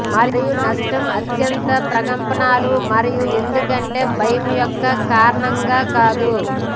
మరియు నష్టం అత్యంత ప్రకంపనలు మరియు ఎందుకంటే భయం యొక్క కారణంగా కాదు